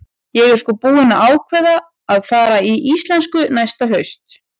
Ég er sko búin að ákveða að fara í íslensku næsta haust.